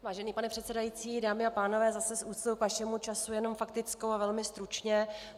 Vážený pane předsedající, dámy a pánové, zase s úctou k vašemu času jenom faktickou a velmi stručně.